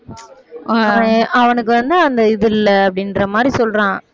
அவனுக்கு வந்து அந்த இது இல்ல அப்படின்ற மாதிரி சொல்றான்